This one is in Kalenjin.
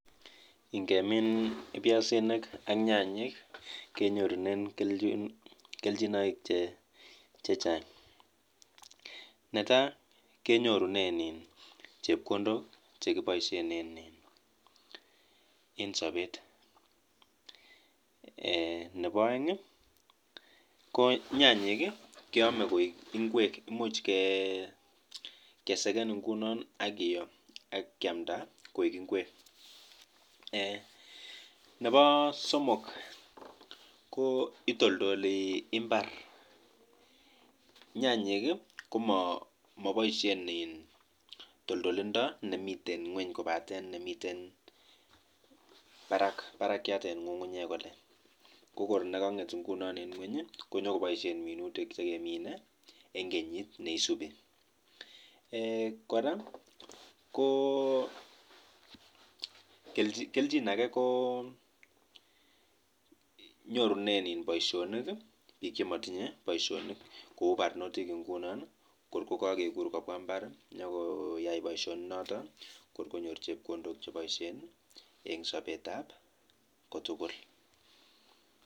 Kelchin ochon chemi ineminjin piaisinik ak nyanyik en koreng'wong'.?